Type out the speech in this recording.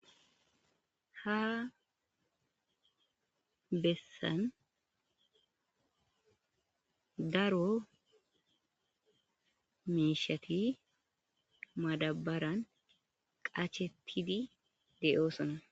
Ha bessan daro miishsheti madabaran qacetidi de'osona.